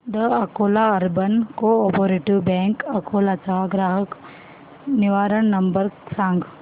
the Akola urban cooperative bank Akola चा ग्राहक निवारण नंबर सांग